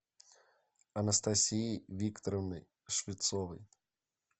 анастасией викторовной швецовой